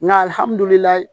Nka